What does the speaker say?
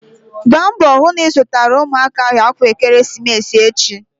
Gbaa mbọ hụ na ị zụtara ụmụaka ahụ akwa ekeresimesi echi!